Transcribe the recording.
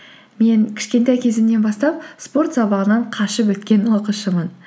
мен кішкентай кезімнен бастап спорт сабағынан қашып өткен оқушымын